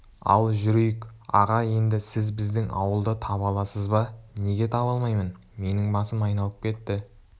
ал жүрейік аға енді сіз біздің ауылды таба аласыз ба неге таба алмаймын менің басым айналып кетті